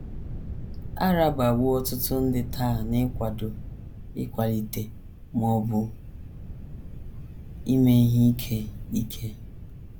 A rabawo ọtụtụ ndị taa n’ịkwado, ịkwalite, ma ọ bụ ime ihe ike. ike.